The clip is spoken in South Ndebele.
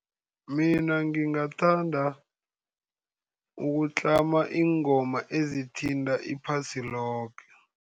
Mina ngingathanda ukutlama iingoma ezithinta iphasi loke.